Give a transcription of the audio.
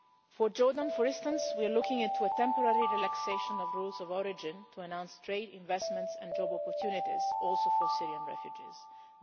For Jordan, for instance, we are looking into a temporary relaxation of rules of origin to announce trade investments and job opportunities for Syrian refugees also.